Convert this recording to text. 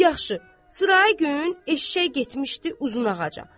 Yaxşı, sırayı gün eşşək getmişdi Uzun ağaca.